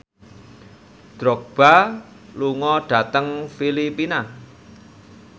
Drogba lunga dhateng Filipina